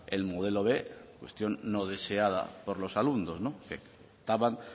del modelo b cuestión no deseada por los alumnos que optaban